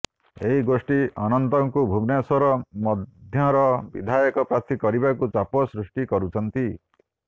ଏହି ଗୋଷ୍ଠୀ ଅନନ୍ତଙ୍କୁ ଭୁବନେଶ୍ବର ମଧ୍ୟର ବିଧାୟକ ପ୍ରାର୍ଥୀ କରିବାକୁ ଚାପ ସୃଷ୍ଟି କରୁଛନ୍ତି